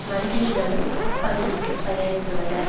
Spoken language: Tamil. மந்திரிகளும் அப்பகுதிக்கு பயணித்துள்ளனர்